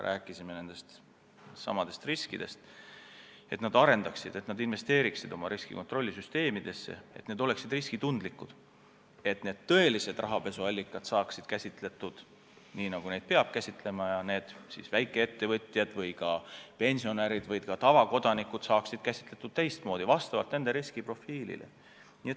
Rääkisime siis nendest riskidest ja panime pankadele südamele, et nad investeeriksid oma riskikontrollisüsteemidesse, et need oleksid riskitundlikud, et tõelised rahapesuallikad saaksid käsitletud nii, nagu neid peab käsitlema, ja et väikeettevõtjad või ka pensionärid või lihtsalt tavakodanikud saaksid käsitletud teistmoodi, vastavalt nende riskiprofiilile.